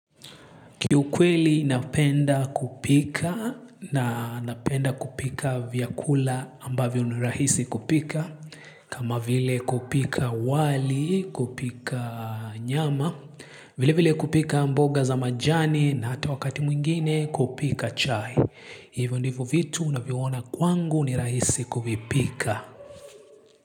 Kiukweli napenda kupika na napenda kupika vyakula ambavyo ni rahisi kupika. Kama vile kupika wali, kupika nyama, vile vile kupika mboga za majani na hata wakati mwingine kupika chai. Hivyo ndivyo vitu ninavyoona kwangu ni rahisi kuvipika.